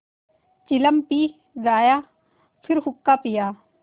चिलम पी गाया फिर हुक्का पिया